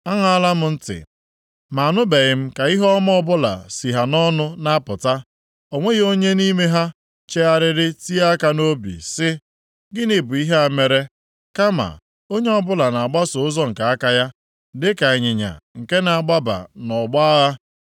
Aṅaala m ntị, ma anụbeghị m ka ihe ọma ọbụla si ha nʼọnụ na-apụta. O nweghị onye nʼime ha chegharịrị tie aka nʼobi sị, “Gịnị bụ ihe a m mere?” Kama onye ọbụla na-agbaso ụzọ nke aka ya, dịka ịnyịnya nke na-agbaba nʼọgbọ agha.